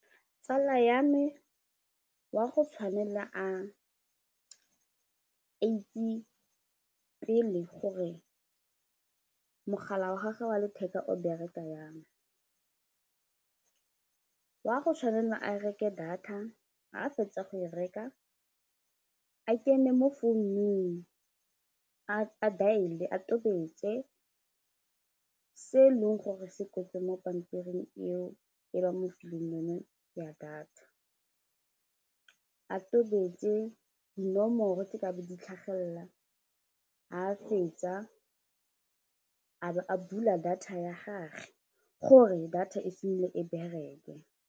Tsala ya me wa go tshwanela a itse pele gore mogala wa gage wa letheka o bereka yang, wa go tshwanela a reke data ga a fetsa go e reka a kene mo founung a dial-e a totobetse se e leng gore se kwetswe mo pampiring eo e ba mo fileng yone ya data a totobetse dinomoro tse kabe di tlhagelela ga a fetsa a bo a bula data ya gage gore data e simolole e bereke.